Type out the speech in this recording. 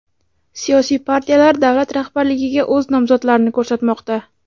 Siyosiy partiyalar davlat rahbarligiga o‘z nomzodlarini ko‘rsatmoqda.